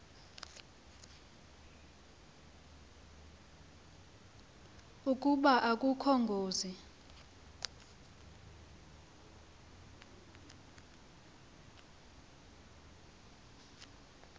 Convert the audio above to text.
ukuba akukho ngozi